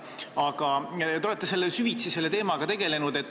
Aga te olete süvitsi selle teemaga tegelenud.